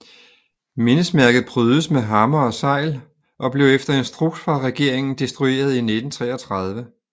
Mindesmærket prydes med hammer og segl og blev efter instruks fra regeringen destrueret i 1933